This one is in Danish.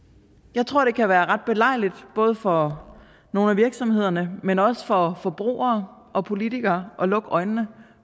jeg tror det kan være ret belejligt både for nogle af virksomhederne men også for forbrugere og politikere at lukke øjnene